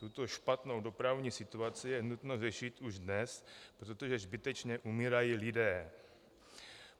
Tuto špatnou dopravní situaci je nutno řešit už dnes, protože zbytečně umírají lidé.